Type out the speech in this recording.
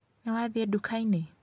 Nĩwathiĩ nduka-inĩ?